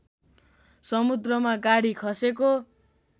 समुद्रमा गाडी खसेको